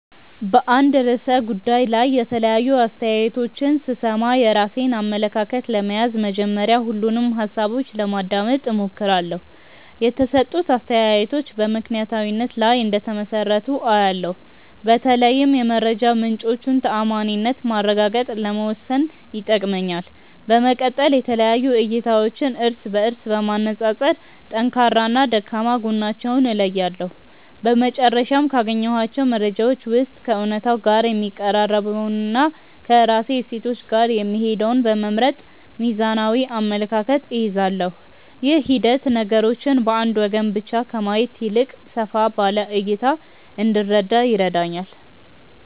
በአንድ ርዕሰ ጉዳይ ላይ የተለያዩ አስተያየቶችን ስሰማ፣ የራሴን አመለካከት ለመያዝ መጀመሪያ ሁሉንም ሃሳቦች ለማዳመጥ እሞክራለሁ። የተሰጡት አስተያየቶች በምክንያታዊነት ላይ እንደተመሰረቱ አያለው፤ በተለይም የመረጃ ምንጮቹን ተዓማኒነት ማረጋገጥ ለመወሰን ይጠቅመኛል። በመቀጠል የተለያዩ እይታዎችን እርስ በእርስ በማነፃፀር ጠንካራና ደካማ ጎናቸውን እለያለሁ። በመጨረሻም፣ ካገኘኋቸው መረጃዎች ውስጥ ከእውነታው ጋር የሚቀራረበውንና ከራሴ እሴቶች ጋር የሚሄደውን በመምረጥ ሚዛናዊ አመለካከት እይዛለሁ። ይህ ሂደት ነገሮችን በአንድ ወገን ብቻ ከማየት ይልቅ ሰፋ ባለ እይታ እንድረዳ ይረዳኛል።